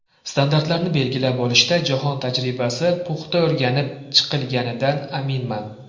Standartlarni belgilab olishda jahon tajribasi puxta o‘rganib chiqilganidan aminman.